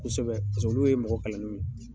Kosɛbɛ olu ye mɔgɔ kalannenw ye.